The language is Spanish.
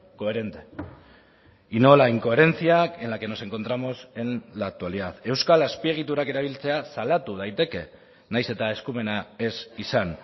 coherente y no la incoherencia en la que nos encontramos en la actualidad euskal azpiegiturak erabiltzea salatu daiteke nahiz eta eskumena ez izan